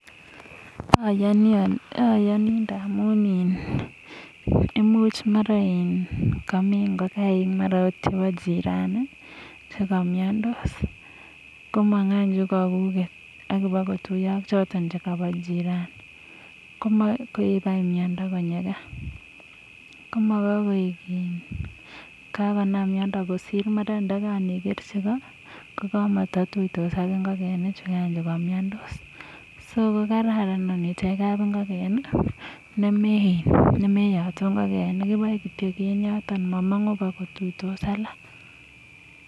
ayani amu mara komi ngokaik chebo jirani che kamyandos komang anyun kabuget ak ibkotuiyoak choto koba jirani ak koib miondo konyo kaa kosir kokakekerchi koo komatiyos ak ngokaik choto che kamyandos so kokararan nemeyatun kab ingiken . ibaei kityo eng yoto mamangu kotuitos ak alak